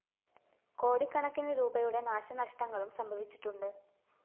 കോടിക്കണക്കിന് രൂപയുടെ നാശനഷ്ടങ്ങളും സംഭവിച്ചിട്ടുണ്ട്